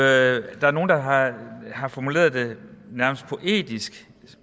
er nogle der har har formuleret det nærmest poetisk